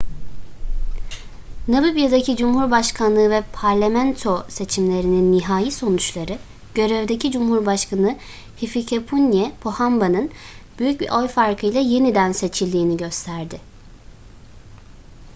namibya'daki cumhurbaşkanlığı ve parlamento seçimlerinin nihai sonuçları görevdeki cumhurbaşkanı hifikepunye pohamba'nın büyük bir oy farkıyla yeniden seçildiğini gösterdi